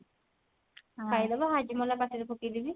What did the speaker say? ଖାଇଦେବି Hajmola ପାଟିରେ ପକେଇଦେବି